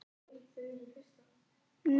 Gottsveinn, hækkaðu í hátalaranum.